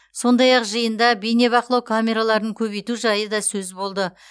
сондай ақ жиында бейнебақылау камераларын көбейту жайы да сөз болды